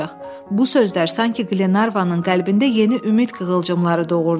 Bu sözlər sanki Glenarvanın qəlbində yeni ümid qığılcımları doğurdu.